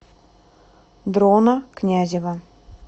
дрона князева